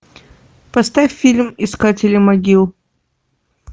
поставь фильм искатели могил